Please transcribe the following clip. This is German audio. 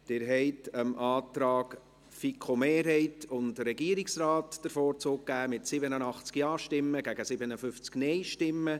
Sie haben dem Antrag der FiKo-Mehrheit und des Regierungsrates den Vorzug gegeben, mit 87 Ja- gegen 57 Nein-Stimmen bei 0 Enthaltungen.